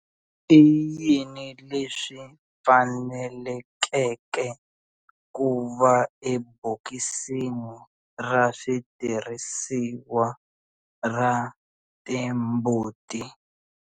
I yini leswi fanelekeke ku va ebokisini ra switirhisiwa ra timbuti?